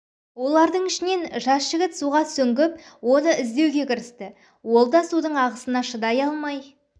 олардың ішінен жас жігіт суга сүңгіп оны іздеуге кірісті ол да судың ағысына шыдай алмай